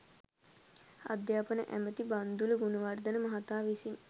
අධ්‍යාපන ඇමැති බන්දුල ගුණවර්ධන මහතා විසින්